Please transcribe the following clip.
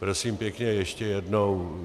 Prosím pěkně, ještě jednou.